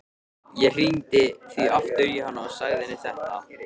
Ég hringdi því aftur í hana og sagði henni þetta.